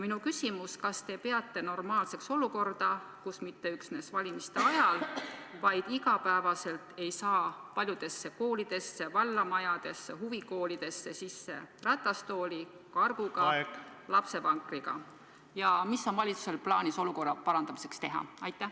Minu küsimus: kas te peate normaalseks olukorda, kus mitte üksnes valimiste ajal, vaid igapäevaselt ei saa paljudesse koolidesse, vallamajadesse, huvikoolidesse sisse ratastooli, kargu või lapsevankriga, ja mis on valitsusel plaanis olukorra parandamiseks teha?